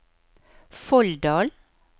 Folldal